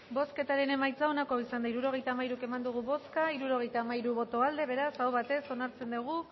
bozketaren emaitza onako izan da hirurogeita hamairu eman dugu bozka hirurogeita hamairu boto aldekoa beraz aho batez onartzen dugu